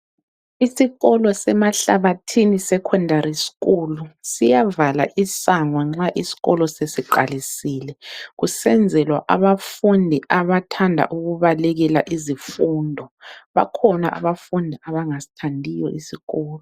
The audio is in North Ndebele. Isikolo seMahlabathini secondary school siyavala isango nxa isikolo sesiqalisile kusenzelwa abafundi abathanda ukubalekela izifundo bakhona abafundi abangasithandiyo isikolo.